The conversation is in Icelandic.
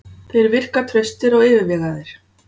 Þeir virka traustir og yfirvegaður.